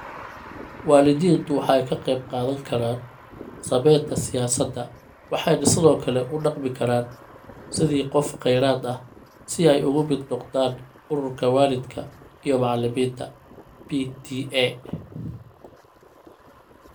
Waalidiintu waxay ka qayb qaadan karaan samaynta siyaasadda waxayna sidoo kale u dhaqmi karaan sidii qof kheyraad ah, si ay uga mid noqdaan Ururka Waalidka iyo Macalimiinta (PTA).